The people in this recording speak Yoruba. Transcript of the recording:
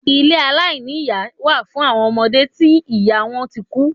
Ilé aláìní iyá wà fún awọn ọmọde tí ìyá wọn tí kú.